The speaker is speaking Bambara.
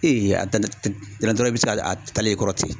i bɛ se k'a taalen y'i kɔrɔ ten.